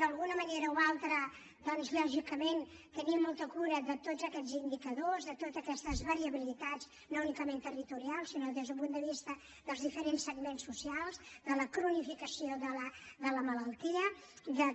d’alguna manera o altra doncs lògicament tenir molta cura de tots aquests indicadors de totes aquestes variabilitats no únicament territorials sinó des d’un punt de vista dels diferents segments socials de la cronificació de la malaltia de que